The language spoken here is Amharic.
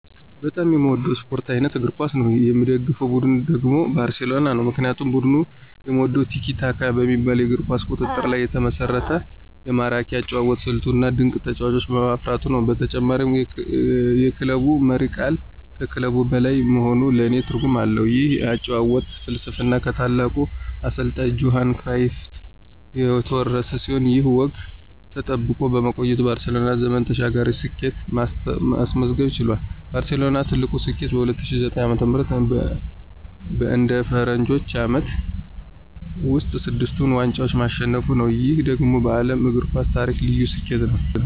በጣም የምወደው የስፖርት አይነት እግር ኳስ ነው። የምደግፈው ቡድን ደግሞ ባርሴሎና ነው። ምክንያቱም ቡድኑን የምወደው "ቲኪ-ታካ" በሚባለው የኳስ ቁጥጥር ላይ የተመሰረተ ማራኪ የአጨዋወት ስልቱ፣ እና ድንቅ ተጫዋቾችን በማፍራቱ ነው። በተጨማሪም የክለቡ መሪ ቃል ከክለብ በላይ መሆኑ ለኔ ልዩ ትርጉም አለው። ይህ የአጨዋወት ፍልስፍና ከታላቁ አሰልጣኝ ጆሃን ክራይፍ የተወረሰ ሲሆን፣ ይህ ወግ ተጠብቆ በመቆየቱ ባርሴሎና ዘመን ተሻጋሪ ስኬትን ማስመዝገብ ችሏል። ባርሴሎና ትልቁ ስኬቱ በ2009 ዓ.ም. በአንድ የፈረንጆቹ ዓመት ውስጥ ስድስቱን ዋንጫዎች ማሸነፉ ነው። ይህ ደግሞ በዓለም የእግር ኳስ ታሪክ ልዩ ስኬት ነው።